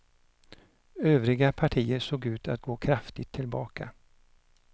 Övriga partier såg ut att gå kraftigt tillbaka.